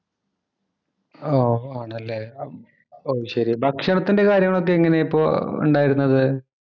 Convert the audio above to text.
ഓ, ആണല്ലേ. ഓ, ശരി. ഭക്ഷണത്തിന്‍റെ കാര്യങ്ങള് ഒക്കെ എങ്ങനെയിപ്പോ ഒണ്ടായിരുന്നത്.